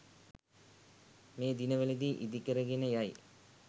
මේ දිනවලදී ඉදිකරගෙන යයි.